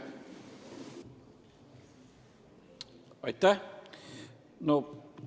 Aitäh!